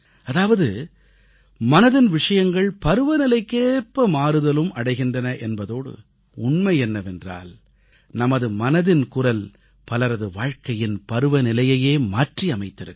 அதாவது மனதின் விஷயங்கள் பருவநிலைக்கேற்ப மாறுதலும் அடைகின்றன என்பதோடு உண்மை என்னவென்றால் நமது மனதின் குரல் பலரது வாழ்க்கையின் பருவநிலையையே மாற்றி அமைத்திருக்கிறது